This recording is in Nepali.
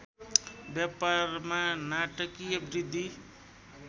व्यापारमा नाटकीय वृद्धि